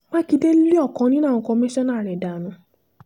mákindé lé ọ̀kan nínú àwọn kọmíṣánná rẹ̀ dànù